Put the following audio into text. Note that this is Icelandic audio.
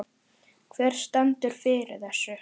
Hver stendur fyrir þessu?